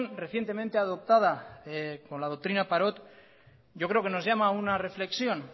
recientemente adoptada con la doctrina parot yo creo que nos llama a una reflexión